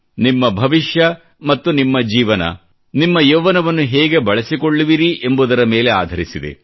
ನಿಮ್ಮ ಭವಿಷ್ಯ ಮತ್ತು ನಿಮ್ಮ ಜೀವನ ನಿಮ್ಮ ಯೌವ್ವನವನ್ನು ಹೇಗೆ ಬಳಸಿಕೊಳ್ಳುವಿರಿ ಎಂಬುದರ ಮೇಲೆ ಆಧರಿಸಿದೆ